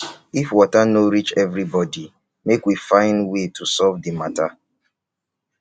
if water no reach everybody make we find way to solve the matter.